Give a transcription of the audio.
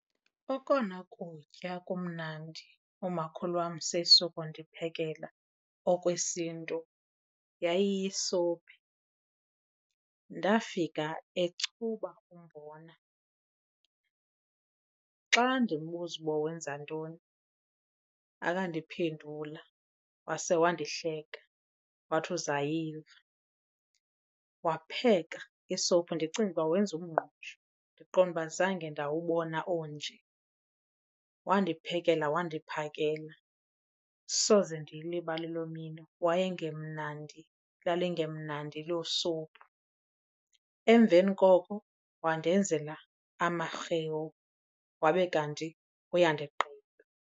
Okona kutya kumnandi umakhulu wam seyisuka kundiphekela okwesiNtu yayiyisophi. Ndafika echuba umbona, xa ndimbuza uba wenza ntoni akandiphendula wase wandihleka, wathi uzayiva. Wapheka isophi ndicinga uba wenza umngqusho ndiqonda azange ndawubona onje, wandiphekela wandiphakela. Soze ndiyilibale loo mini wayengemnandi, lalingemnandi elo sophu. Emveni koko wandenzela amarhewu wabe kanti uyandigqiba.